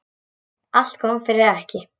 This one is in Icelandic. Allt kom fyrir ekki.